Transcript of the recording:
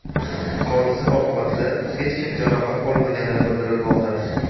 Hodisa oqibatida hech kim jarohat olmagani bildirilmoqda.